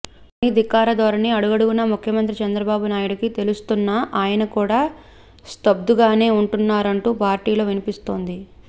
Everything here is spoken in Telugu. నాని ధిక్కార ధోరణి అడుగడుగునా ముఖ్యమంత్రి చంద్రబాబు నాయుడుకి తెలుస్తున్నా ఆయన కూడా స్తబ్దుగానే ఉంటున్నారంటూ పార్టీలో వినిపిస్తోంది